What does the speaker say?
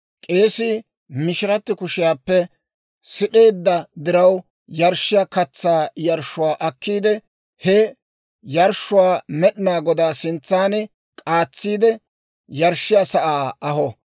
K'eesii mishiratti kushiyaappe sid'eedda diraw yarshshiyaa katsaa yarshshuwaa akkiide, he yarshshuwaa Med'inaa Godaa sintsan k'aatsiide, yarshshiyaa sa'aa aho.